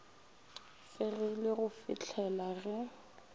fegilwe go fih lela ge